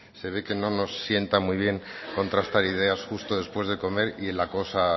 se ve que no nos sienta muy bien contrastar ideas justo después de comer y la cosa